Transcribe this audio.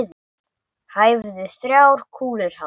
Hæfðu þrjár kúlur hann.